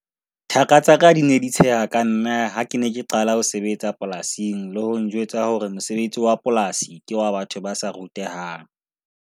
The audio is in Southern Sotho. Thaka tsa ka di ne di tsheha ka nna ha ke ne ke qala ho sebetsa polasing le ho njwetsa hore mosebetsi wa polasi ke wa batho ba sa rutehang.